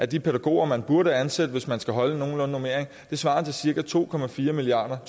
de pædagoger man burde ansætte hvis man skal holde en nogenlunde normering svarer til cirka to milliard